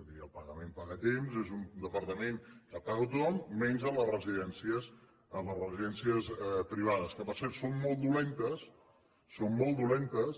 el departament paga a temps és un departament que paga a tothom menys a les residències privades que per cert són molt dolentes són molt dolentes